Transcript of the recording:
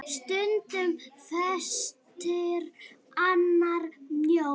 Stundum feitur, annars mjór.